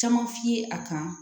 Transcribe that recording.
Caman f'i ye a kan